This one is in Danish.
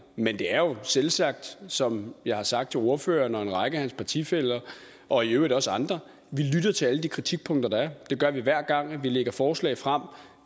men det er jo selvsagt som jeg har sagt til ordføreren og en række af hans partifæller og i øvrigt også andre at til alle de kritikpunkter der er det gør vi hver gang vi lægger forslag frem